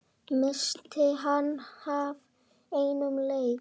missti hann af einum leik?